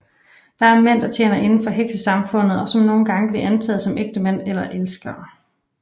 Der er mænd der tjener indenfor heksesamfundet og som nogle gange bliver antaget som ægtemænd eller elskere